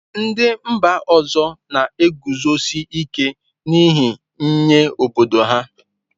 Ndị mba ọzọ na-eguzosi ike n'ihe nye obodo ha.